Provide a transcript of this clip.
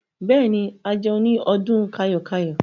Bẹ́ẹ̀ ni, a jẹun ní ọdún kayo-kayo.